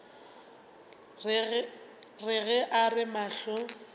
re ge a re mahlo